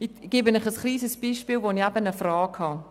Ich gebe Ihnen ein kleines Beispiel, wozu ich eine Frage habe.